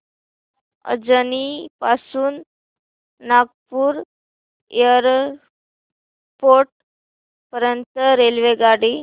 अजनी पासून नागपूर एअरपोर्ट पर्यंत रेल्वेगाडी